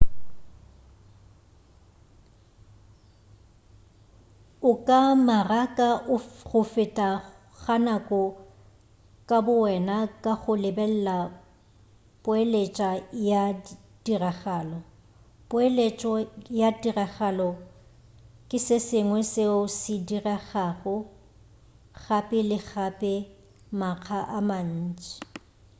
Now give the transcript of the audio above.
o ka maraka go feta ga nako ka bo wena ka go lebelela poeletša ya tiragalo poeletšo ya tiragalo ke se sengwe seo se diregago gape le gape makga a mantši